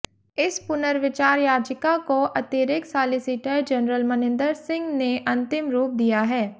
इस पुनर्विचार याचिका को अतिरिक्त सालिसिटर जनरल मनिन्दर सिंह ने अंतिम रूप दिया है